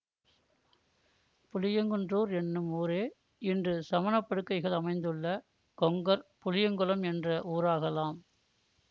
புளியங்குன்றூர் என்னும் ஊரே இன்று சமணப்படுகைகள் அமைந்துள்ள கொங்கர் புளியங்குளம் என்ற ஊராகலாம்